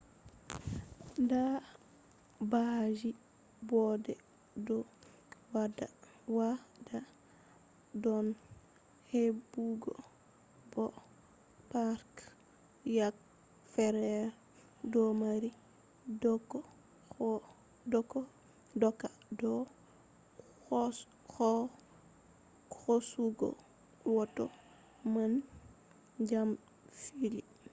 dabbaji boɗɗe ɗo waɗa bone heɓugo bo parks yake fere ɗo mari doka do hosugo hoto ngam dabare fillu